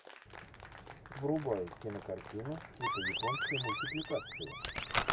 врубай кинокартину типа японской мультипликации